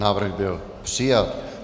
Návrh byl přijat.